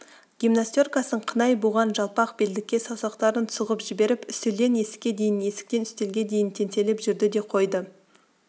гимнастеркасын қынай буған жалпақ белдікке саусақтарын сұғып жіберіп үстелден есікке дейін есіктен үстелге дейін теңселіп жүрді де қойды